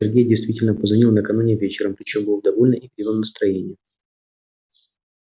сергей действительно позвонил накануне вечером причём был в довольно игривом настроении